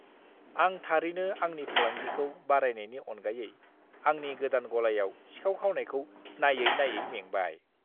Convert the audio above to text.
आं थारैनो आंनि फालांगिखौ बारायनायनि अनगायै आंनि गोदान गलायाव सिखाव खावनायखौ नाययै नाययै मेंबाय।